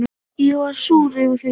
Ég var súr yfir því.